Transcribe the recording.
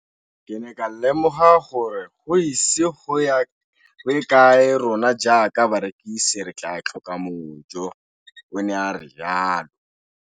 Ke ne ka lemoga gore go ise go ye kae rona jaaka barekise re tla tlhoka mojo, o ne a re jalo.